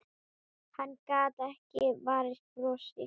Hann gat ekki varist brosi.